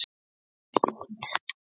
En ég réð ekki við mig.